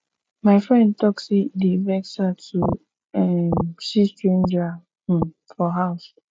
my friend tok sey e dey vex her to um see stranger um for house